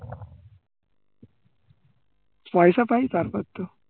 পয়সা পাই তারপর তো